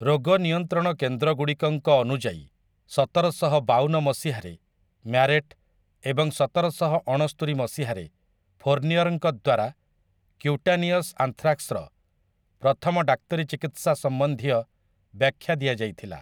ରୋଗ ନିୟନ୍ତ୍ରଣ କେନ୍ଦ୍ରଗୁଡ଼ିକଙ୍କ ଅନୁଯାୟୀ ସତରଶହ ବାଉନ ମସିହାରେ ମ୍ୟାରେଟ୍ ଏବଂ ସତରଶହ ଅଣସ୍ତୁରି ମସିହାରେ ଫୋର୍ନିଅର୍‍ଙ୍କ ଦ୍ୱାରା କ୍ୟୁଟାନିୟସ୍ ଆନ୍ଥ୍ରାକ୍ସର ପ୍ରଥମ ଡାକ୍ତରୀ ଚିକିତ୍ସା ସମ୍ବନ୍ଧୀୟ ବ୍ୟାଖ୍ୟା ଦିଆଯାଇଥିଲା ।